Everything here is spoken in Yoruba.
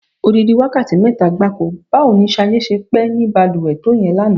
Odidi wákàtí mé̩ta gbáko! Báwo ni S̩adé s̩e pé̩ ní balùwè̩ to ìye̩n lánàá?